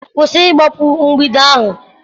kwụsị ịgbapu mgbidi ahu!